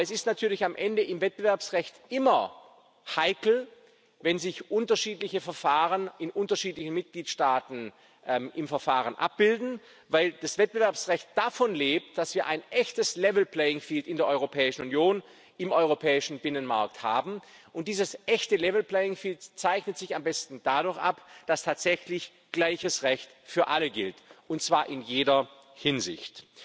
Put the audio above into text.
haben. Aber es ist natürlich am Ende im Wettbewerbsrecht immer heikel, wenn sich unterschiedliche Verfahren in unterschiedlichen Mitgliedstaaten im Verfahren abbilden, weil das Wettbewerbsrecht davon lebt, dass wir ein echtes level playing field in der Europäischen Union, im europäischen Binnenmarkt haben, und dieses echte level playing field zeichnet sich am besten dadurch ab, dass tatsächlich gleiches Recht für alle gilt, und zwar in jeder Hinsicht.